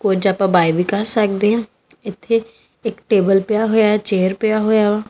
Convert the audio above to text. ਕੁਝ ਅੱਪਾ ਬਾਏ ਵੀ ਕਰ ਸਕਦੇ ਹਾਂ ਇੱਥੇ ਇੱਕ ਟੇਬਲ ਪਿਆ ਹੋਇਆ ਆ ਚੇਅਰ ਪਿਆ ਹੋਇਆ ਵਾ।